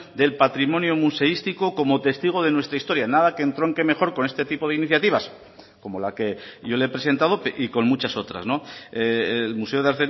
del patrimonio museístico como testigo de nuestra historia nada que entronque mejor con este tipo de iniciativas como la que yo le he presentado y con muchas otras el museo de